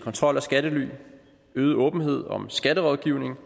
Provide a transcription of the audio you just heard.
kontrol af skattely øget åbenhed om skatterådgivning